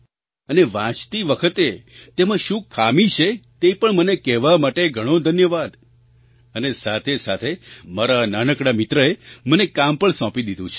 અને વાંચતી વખતે તેમાં શું ખામી છે તે પણ મને કહેવા માટે ઘણો ધન્યવાદ અને સાથેસાથે મારા આ નાનકડા મિત્રએ મને કામ પણ સોંપી દીધું છે